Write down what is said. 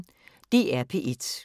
DR P1